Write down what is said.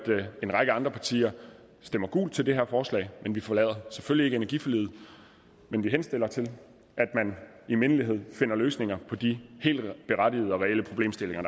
en række andre partier stemmer gult til det her forslag vi forlader selvfølgelig ikke energiforliget men vi henstiller til at man i mindelighed finder løsninger på de helt berettigede og reelle problemstillinger